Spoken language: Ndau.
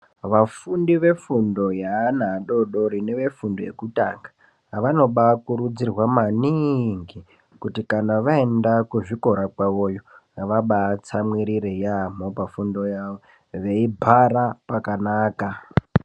Vafundi vefundo yeana adodori nevefundo yekutanga vanobakurudzirwa maningi kuti kana vaenda kuzvikora kwavoyo vabatsamwirire yamho pafundo yavoyo veibhara pakanaka.